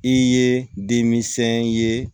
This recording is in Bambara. I ye denmisɛn ye